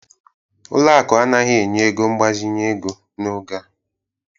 Ụlọ akụ anaghị enye ego mgbazinye ego n'oge a